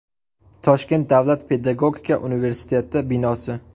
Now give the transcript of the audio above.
Toshkent davlat pedagogika universiteti binosi.